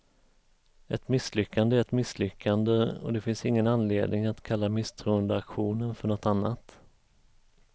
Ett misslyckande är ett misslyckande, och det finns ingen anledning att kalla misstroendeaktionen för något annat.